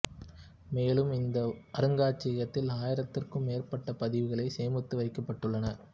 மேலும் இந்த அருங்காட்சியகத்தில் ஆயிரத்துக்கும் மேற்பட்ட பதிவுகளை சேமித்து வைக்கப்பட்டுள்ளன